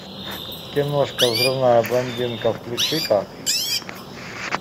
киношка взрывная блондинка включи ка